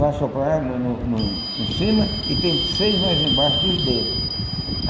Vai soprar no no no em cima e tem seis mais embaixo dos dedos.